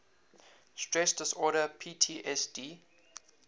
stress disorder ptsd